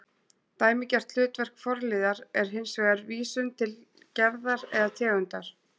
Dæmigert hlutverk forliðar er hins vegar vísun til gerðar eða tegundar